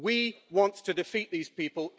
We want to defeat these people.